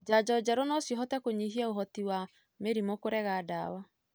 Janjo njerũ nocihote kũnyihia ũhoti wa mĩrimũ kũrega ndawa.